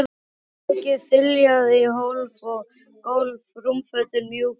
Herbergið þiljað í hólf og gólf, rúmfötin mjúk og hlý.